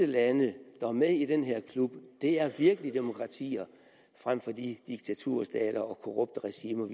lande der er med i den her klub er virkelig demokratier frem for de diktaturstater og korrupte regimer